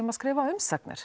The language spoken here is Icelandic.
að skrifa umsagnir